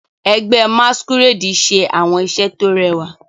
Ẹgbẹ́ masquerade ṣe àwọn iṣẹ́ tó rẹwà.